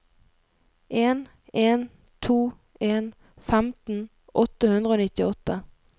en en to en femten åtte hundre og nittiåtte